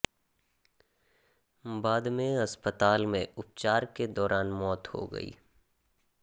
बाद में अस्पताल में उपचार के दौरान मौत हो गई